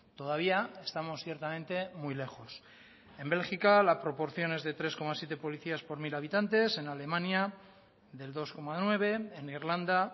todavía estamos ciertamente muy lejos en bélgica la proporción es de tres coma siete policías por mil habitantes en alemania del dos coma nueve en irlanda